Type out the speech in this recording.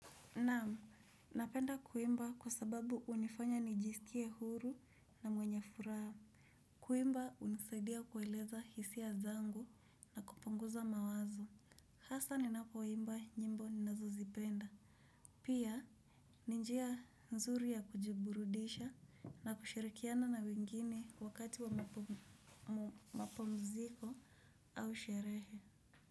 Naam, napenda kuimba kwa sababu hunifanya nijiskie huru na mwenye furaha. Kuimba hunisaidia kueleza hisia zangu na kupunguza mawazo. Hasa ninapoimba nyimbo ninazo zipenda. Pia, ni njia nzuru ya kujiburudisha na kushirikiana na wengine wakati wa mapumziko au sherehe.